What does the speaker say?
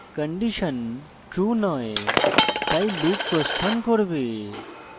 condition true নয় তাই loop প্রস্থান করবে